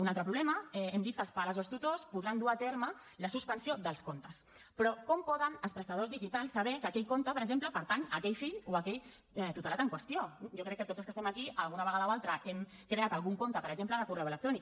un altre problema hem dit que els pares o els tutors podran dur a terme la suspensió dels comptes però com poden els prestadors digitals saber que aquell compte per exemple pertany a aquell fill o a aquell tutelat en qüestió jo crec que tots els que estem aquí alguna vegada o altra hem creat algun compte per exemple de correu electrònic